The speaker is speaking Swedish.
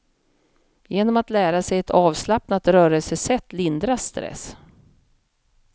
Genom att lära sig ett avslappnat rörelsesätt lindras stress.